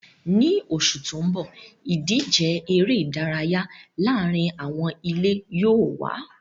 Ní oṣù tó ń bọ̀, ìdíje eré ìdárayá láàárín àwọn ilé yóò wà